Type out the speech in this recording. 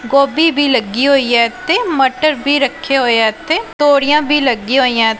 ਗੋਬੀ ਵੀ ਲੱਗੀ ਹੋਈ ਹੈ ਤੇ ਮਟਰ ਵੀ ਰੱਖਿਆ ਹੋਇਆ ਤੇ ਤੋੜੀਆਂ ਵੀ ਲੱਗੀਆਂ ਹੋਈਆਂ।